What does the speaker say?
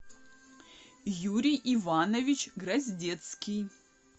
юрий иванович гроздецкий